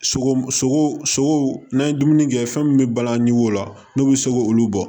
Sogo sogo sogo n'an ye dumuni kɛ fɛn min bɛ balan ɲe o la n'u bɛ sogo olu bɔ